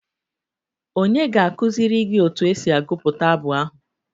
Ònye ga-akụziri gị otu esi agụpụta abụ ahụ?